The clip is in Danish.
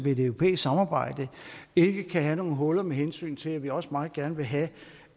i et europæisk samarbejde ikke kan have nogle huller med hensyn til at vi også meget gerne vil have